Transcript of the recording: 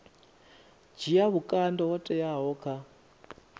dzhia vhukando ho teaho kha